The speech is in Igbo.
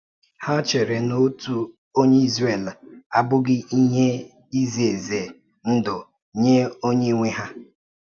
Hà chèrè na òtu onye Ịzrel abụghị ihe ize ize ndụ nye onye nwe ha?